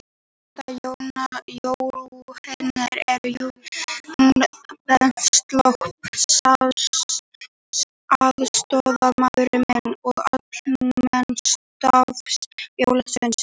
Þetta Johnny, er hún Penélope aðstoðarmaður minn og almennur starfsmaður Jólasveinasetursins.